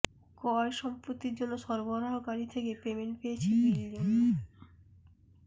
ক্রয় সম্পত্তি জন্য সরবরাহকারী থেকে পেমেন্ট পেয়েছি বিল জন্য